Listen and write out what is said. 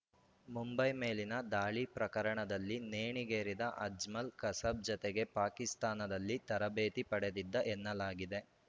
ಮುಂಬೈ ಮೇಲಿನ ದಾಳಿ ಪ್ರಕರಣದಲ್ಲಿ ನೇಣಿಗೇರಿದ ಅಜ್ಮಲ್‌ ಕಸಬ್‌ ಜತೆಗೇ ಪಾಕಿಸ್ತಾನದಲ್ಲಿ ತರಬೇತಿ ಪಡೆದಿದ್ದ ಎನ್ನಲಾಗಿದೆ